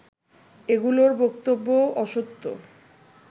এগুলোর বক্তব্যও অসত্য